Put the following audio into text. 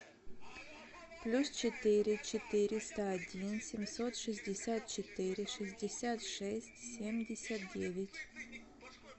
плюс четыре четыреста один семьсот шестьдесят четыре шестьдесят шесть семьдесят девять